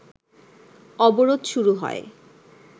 অবরোধ শুরু হয়